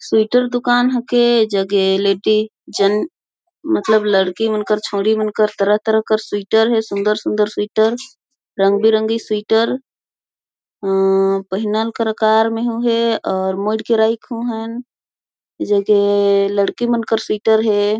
स्विटर दुकान हके जगेलेटी जन मतलब लड़की मन कर छौड़ी मन कर तरह तरह कर स्वीटर है सुंदर सुंदर स्वीटर रंग बिरंगी स्वीटर आ पहीनल कर अऊर मोड़ कर रईख हूं हेन जगे लड़की मन कर स्वीटर है।